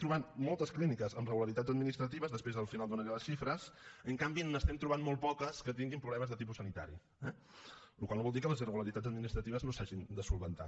trobem moltes clíniques amb irregularitats administratives després al final en donaré les xifres en canvi en trobem molt poques que tinguin problemes de tipus sanitari eh la qual cosa no vol dir que les irregularitats administratives no s’hagin de solucionar